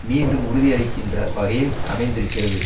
மீண்டும் உறுதியளிக்கின்ற வகையில் அமைந்திருக்கிறது